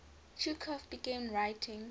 chekhov began writing